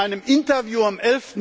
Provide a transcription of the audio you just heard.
In einem Interview am